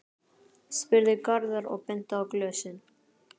spurði Garðar og benti á glösin.